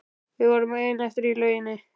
Við vorum ein eftir í lauginni.